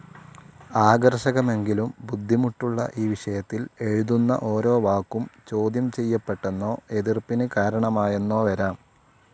ആകർഷകമെങ്കിലും ബുദ്ധിമുട്ടുള്ള ഈ വിഷയത്തിൽ എഴുതുന്ന ഓരോ വാക്കും ചോദ്യം ചെയ്യപ്പെട്ടെന്നോ എതിർപ്പിന് കാരണമായെന്നോ വരാം.